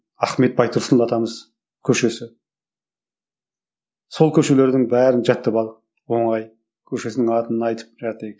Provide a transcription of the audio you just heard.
ахмет байтұрсынов атамыз көшесі сол көшелердің бәрін жаттап алдық оңай көшесінің атын айтып